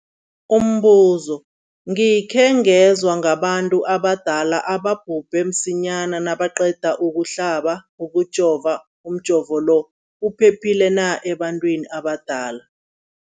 Umbuzo, gikhe ngezwa ngabantu abadala ababhubhe msinyana nabaqeda ukuhlaba, ukujova. Umjovo lo uphephile na ebantwini abadala?